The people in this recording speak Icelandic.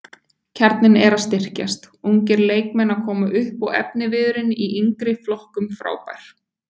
Kjarninn er að styrkjast, ungir leikmenn að koma upp og efniviðurinn í yngri flokkum frábær.